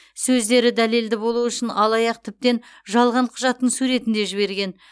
сөздері дәлелді болу үшін алаяқ тіптен жалған құжаттың суретін де жіберген